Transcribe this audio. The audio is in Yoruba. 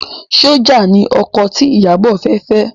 Sójà ni ọkọ tí Ìyábọ̀ fẹ́ fẹ́